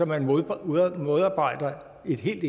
man modarbejder et helt